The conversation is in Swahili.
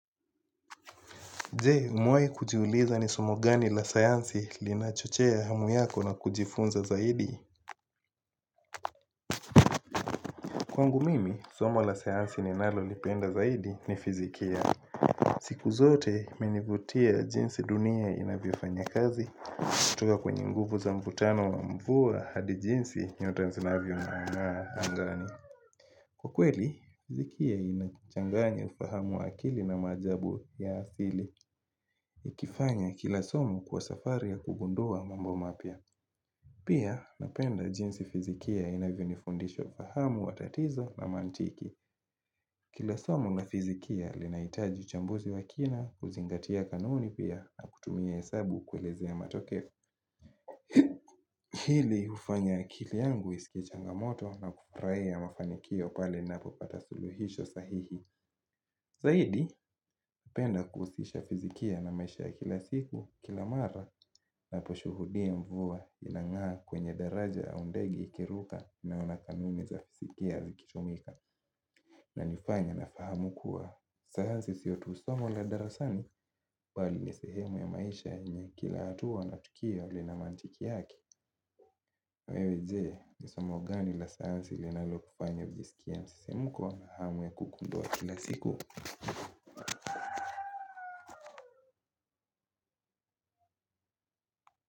Jee, umewaikujiuliza ni somo gani la sayansi lina chochea hamu yako na kujifunza zaidi? Kwangu mimi, somo la sayansi ni nalo lipenda zaidi ni fizikia. Siku zote, imenivutua jinsi dunia inavyofanya kazi. Kutoka kwenye nguvu za mvutano wa mvua hadi jinsi nyota zinavyo nga angani. Kwa kweli, fizikia inakuchanganya ufahamu akili na majabu ya asili. Ikifanya kilasomu kwa safari ya kugundua mambo mapia Pia napenda jinsi fizikia inavyo nifundisho fahamu watatizo na mantiki Kilasomu na fizikia linaitaji chambuzi wakina kuzingatia kanuni pia na kutumia hesabu kweleze ya matoke Hili ufanya akili yangu isikie changamoto na kufuraia mafanikio pale napo pata suluhisho sahihi Zaidi, upenda kuhusisha fizikia na maisha kila siku kila mara na poshuhudia mvua inangaa kwenye daraja au ndege ikiruka na una kanuni za fizikia likitumika. Na nifanya nafahamu kuwa sayansi siotusomo la darasani bali ni sehemu ya maisha yenye kila hatua na tukio lina mandiki yake. Wewe je, nisomo gani la sayansi linalo kufanya ujiskie msisimuko na hamu ya kugundua kila siku.